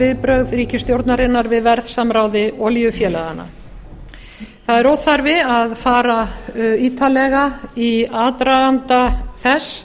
viðbrögð ríkisstjórnarinnar við verðsamráði olíufélaganna það er óþarfi að fara ítarlega í aðdraganda þess